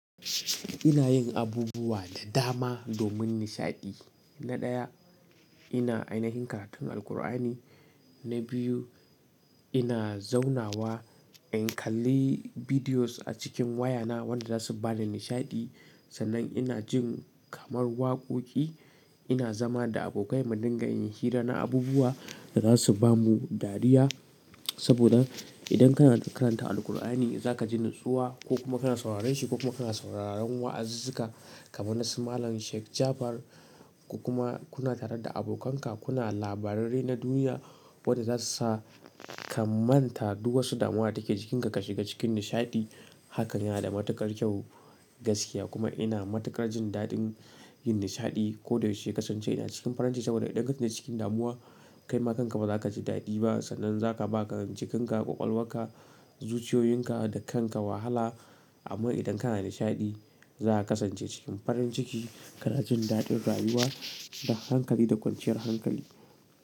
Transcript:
Ina yin abubuwa da dama domin nishaɗi. Na ɗaya, ina ainihin karatun Alqur'ani. Na biyu, ina zaunawa in kalli bidiyos a cikin wayana wanda zasu bani nishaɗi. Sannan ina jin kamar wakoki. Na biyu, ina zaunawa in kalli bidiyos a cikin wayana wanda zasu bani nishaɗi. Saboda idan kana karanta Alqur'ani, zakaji natsuwa ko kuma kana sauraren shi ko kuma kana sauraron wa'azika kamar nasu Malam Sheikh Jafar ko kuma kuna tare da abokanka kuna labarai na duniya wanda zasu sa ka manta duk wasu damuwa take jikinka ka shiga cikin nishaɗi. Hakan yana da matuƙar kyau gaskiya kuma ina matuƙar jin daɗin yin nishaɗi. Ko da yaushe kasance ina cikin farin ciki saboda idan kake cikin damuwa, kaima kanka ba za ka ji daɗi ba sannan za ka ba jikinka ƙwaƙwalwaka, zuciyoyinka da kanka wahala. Amma idan kana nashadi, zaka kasance cikin farin ciki kana jin daɗin rayuwa da hankali da kwanciyar hankali.